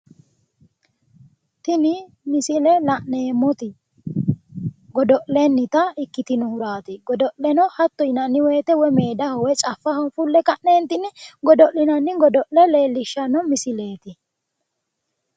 Tini misile la'neemmoti godo'lennita ikkitinohuraati. Godo'leno hatto yinanni woyite woyi meedaho woyi caffaho fulle ka'neentinni godo'linanni godo'le leellishshanno misileeti.